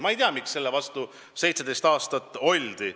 Ma ei tea, miks selle vastu 17 aastat oldi.